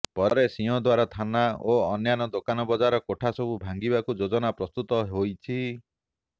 ପରେ ସିଂହଦ୍ବାର ଥାନା ଓ ଅନ୍ୟାନ୍ୟ ଦୋକାନବଜାର କୋଠା ସବୁ ଭାଙ୍ଗିବାକୁ ଯୋଜନା ପ୍ରସ୍ତୁତ ହୋଇଛି